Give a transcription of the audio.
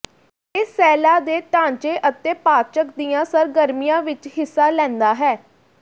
ਇਹ ਸੈੱਲਾਂ ਦੇ ਢਾਂਚੇ ਅਤੇ ਪਾਚਕ ਦੀਆਂ ਸਰਗਰਮੀਆਂ ਵਿਚ ਹਿੱਸਾ ਲੈਂਦਾ ਹੈ